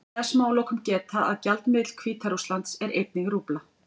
Þess má að lokum geta að gjaldmiðill Hvíta-Rússlands er einnig rúbla.